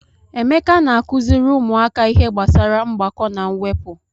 Emeka na-akụziri ụmụaka ihe gbasara mgbakọ na mwepụ.